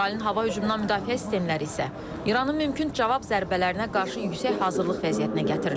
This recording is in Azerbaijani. İsrailin hava hücumundan müdafiə sistemləri isə İranın mümkün cavab zərbələrinə qarşı yüksək hazırlıq vəziyyətinə gətirilib.